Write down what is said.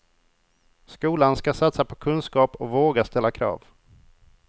Skolan ska satsa på kunskap och våga ställa krav.